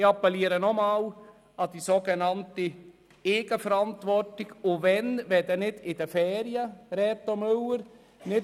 Ich appelliere noch einmal an die sogenannte Eigenverantwortung, und wann, wenn nicht in den Ferien, Reto Müller.